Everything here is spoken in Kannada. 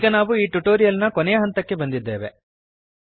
ಈಗ ನಾವು ಈ ಟ್ಯುಟೋರಿಯಲ್ ನ ಕೊನೆಯ ಹಂತಕ್ಕೆ ಬಂದಿದ್ದೇವೆ